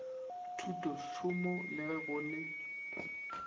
thutotšhomo le ge go le